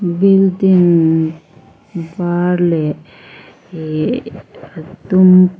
building var leh ihhh a dum --